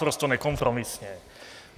Naprosto nekompromisně.